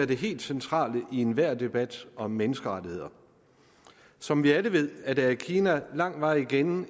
det helt centrale i enhver debat om menneskerettigheder som vi alle ved er der i kina lang vej igen